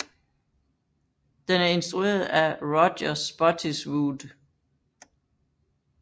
Den er instrueret af Roger Spottiswoode